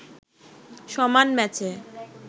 সমান ম্যাচে